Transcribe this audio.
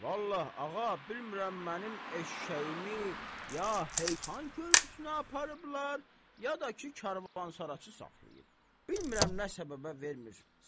Vallahi, ağa, bilmirəm mənim eşşəyimi ya xan körpüsünə aparıblar ya da ki, karvansaraçı saxlayıb vermir.